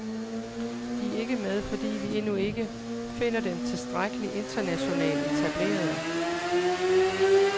De er ikke med, fordi vi endnu ikke finder dem tilstrækkelig internationalt etablerede.